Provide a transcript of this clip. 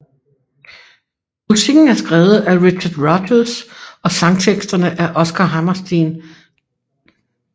Musikken er skrevet af Richard Rodgers og sangteksterne af Oscar Hammerstein II